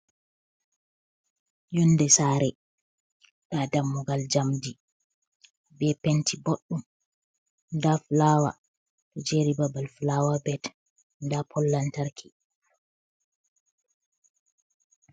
Yonde saare, nda dammugal njamdi be penti boɗdum, nda flawa do jeri babal flawa bet da pol lantarki.